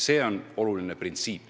See on oluline printsiip.